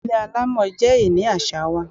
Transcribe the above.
Ilé alámọ̀ jẹ ìní àṣà wa.